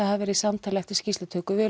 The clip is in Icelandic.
hafi verið samtal eftir skýrslutöku við